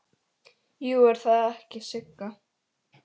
Jú, er það ekki Sigga?